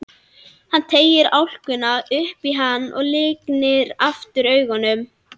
Hann teygir álkuna upp í hana og lygnir aftur augunum.